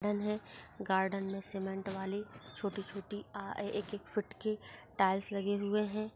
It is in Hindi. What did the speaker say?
डेन है गार्डन मे सीमेंट वाली छोटी छोटी एक एक फूट की टाइल्स लगे हुए है।